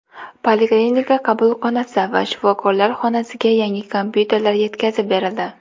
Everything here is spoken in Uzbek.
Poliklinika qabulxonasi va shifokorlar xonasiga yangi kompyuterlar yetkazib berildi.